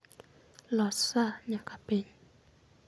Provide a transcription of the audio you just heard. Los saa nyaka piny